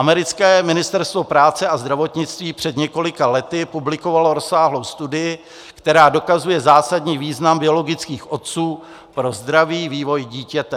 Americké ministerstvo práce a zdravotnictví před několika lety publikovalo rozsáhlou studii, která dokazuje zásadní význam biologických otců pro zdravý vývoj dítěte.